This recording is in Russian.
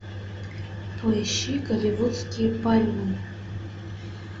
поищи голливудские пальмы